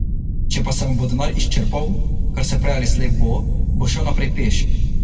Če pa se mu bo denar izčrpal, kar se prej ali slej bo, bo šel naprej peš.